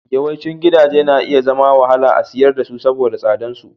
Yawancin gidaje na iya zama da wahala a siyar da su saboda tsadar su.